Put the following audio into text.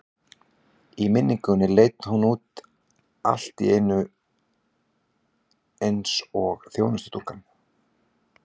Í minningunni leit hún nú allt í einu út alveg eins og þjónustustúlkan.